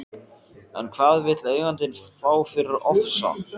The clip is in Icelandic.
En hvað vill eigandinn fá fyrir Ofsa?